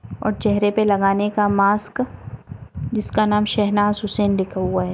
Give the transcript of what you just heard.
और चेहरे पे लगाने का मास्क जिसका नाम शेहनाज़ हुसैन लिखा हुआ है ।